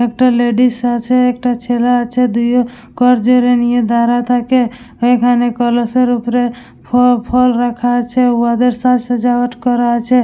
একটা লেডিস আছে একটা ছেলে আছে দুই ও কর্যা রে নিয়ে দাঁড়া থাকে ওখানে কলসের উপরে ফফ ফল রাখা আছে উয়াদের সাজ সাজাওয়াট করা আছে।